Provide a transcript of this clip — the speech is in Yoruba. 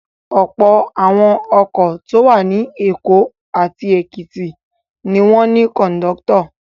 Ọ̀pọ̀ àwọn ọkọ̀ tó wà ní Èkó àti Èkìtì ni wọ́n ní kọ̀ńdọ́tọ̀.